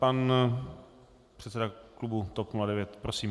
Pan předseda klubu TOP 09. Prosím.